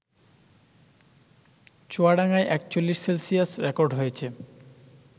চুয়াডাঙ্গায় ৪১ Celsius record হয়েছে